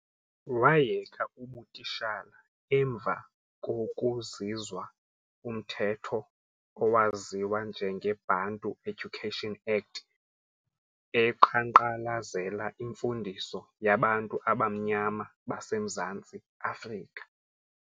Wayeka ubutishala emva kwoku zizwa umtheto owaziwa njenge Bantu Education Act eqanqalazela imfundiso yabantu abamnyama base Mzantsi-Afrika.